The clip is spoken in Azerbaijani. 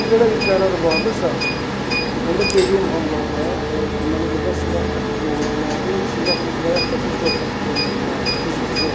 Əgər belə bir qərar var idisə, onda dediyim hallarda deməli burda silah tətbiq oluna bilərdi, silah və yaxud da ki, zor tətbiq oluna bilərdi, fiziki zor.